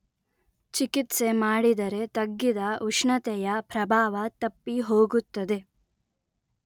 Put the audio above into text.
ಚಿಕಿತ್ಸೆ ಮಾಡಿದರೆ ತಗ್ಗಿದ ಉಷ್ಣತೆಯ ಪ್ರಭಾವ ತಪ್ಪಿ ಹೋಗುತ್ತದೆ